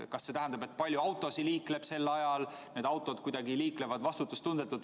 Kas see tähendab, et sel ajal liikleb palju autosid või et need autod liiklevad vastutustundetult?